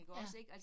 Ja